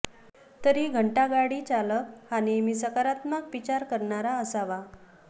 तरी घंटागाडी चालक हा नेहमी सकारात्मक विचार करणारा असावा